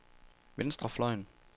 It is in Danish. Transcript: venstrefløjen